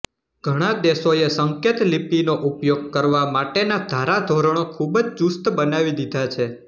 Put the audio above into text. ઘણા દેશોએ સંકેતલિપીનો ઉપયોગ કરવા માટેનાં ધારાધોરણો ખૂબ જ ચુસ્ત બનાવી દીધા છે